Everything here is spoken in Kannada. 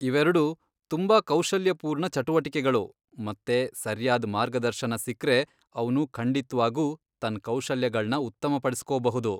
ಇವೆರ್ಡೂ ತುಂಬಾ ಕೌಶಲ್ಯಪೂರ್ಣ ಚಟುವಟಿಕೆಗಳು ಮತ್ತೆ ಸರ್ಯಾದ್ ಮಾರ್ಗದರ್ಶನ ಸಿಕ್ರೆ ಅವ್ನು ಖಂಡಿತ್ವಾಗೂ ತನ್ ಕೌಶಲ್ಯಗಳ್ನ ಉತ್ತಮಪಡಿಸ್ಕೋಬಹುದು.